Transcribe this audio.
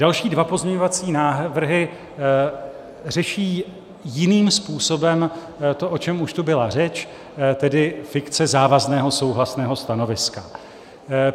Další dva pozměňovací návrhy řeší jiným způsobem to, o čem už tu byla řeč, tedy fikce závazného souhlasného stanoviska.